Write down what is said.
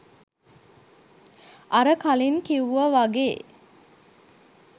අර කලින් කිව්ව වගේ